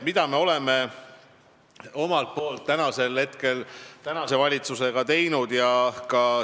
Mida me oleme omalt poolt tänase valitsusega teinud?